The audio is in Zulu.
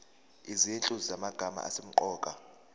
izinhlu zamagama asemqoka